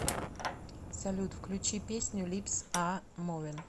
салют включи песню липс а мувин